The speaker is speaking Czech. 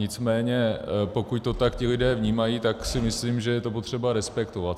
Nicméně pokud to tak ti lidé vnímají, tak si myslím, že je to potřeba respektovat.